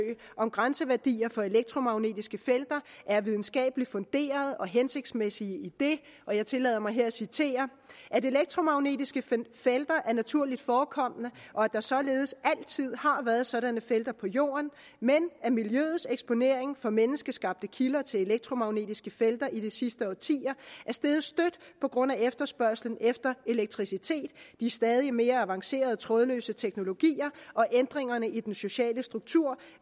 om grænseværdier for elektromagnetiske felter er videnskabeligt funderet og hensigtsmæssige idet og jeg tillader mig her at citere at elektromagnetiske felter er naturligt forekommende og at der således altid har været sådanne felter på jorden men at miljøets eksponering for menneskeskabte kilder til elektromagnetiske felter i de sidste årtier er steget støt på grund af efterspørgslen efter elektricitet de stadig mere avancerede trådløse teknologier og ændringerne i den sociale struktur